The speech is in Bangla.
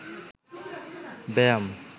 ব্যায়াম